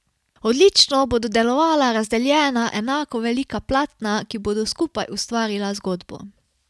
Odlično bodo delovala razdeljena enako velika platna, ki bodo skupaj ustvarila zgodbo.